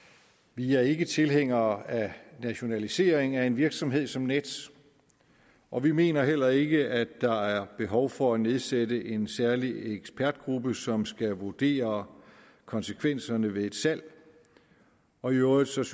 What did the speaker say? vi er ikke tilhængere af nationalisering af en virksomhed som nets og vi mener heller ikke at der er behov for at nedsætte en særlig ekspertgruppe som skal vurdere konsekvenserne ved et salg og i øvrigt synes